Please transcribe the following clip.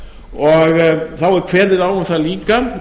og þá er kveðið á um það líka